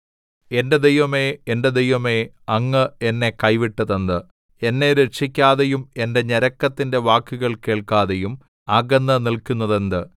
എന്റെ ദൈവമേ എന്റെ ദൈവമേ അങ്ങ് എന്നെ കൈവിട്ടതെന്ത് എന്നെ രക്ഷിക്കാതെയും എന്റെ ഞരക്കത്തിന്റെ വാക്കുകൾ കേൾക്കാതെയും അകന്നുനില്ക്കുന്നതെന്ത്